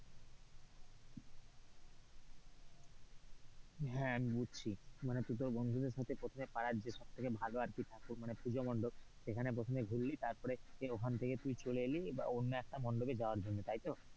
হ্যাঁ আমি বুঝছি মানে তুই তোর বন্ধুদের সাথে প্রথমে পাড়ার যে সব থেকে ভালো ঠাকুর মানে পূজামণ্ডপ, সেখানে প্রথমে ঘুরলি তারপরে এ তুই ঐখান থেকে চলে এলি অন্য একটা মণ্ডপে যাওয়ার জন্য তাই তো?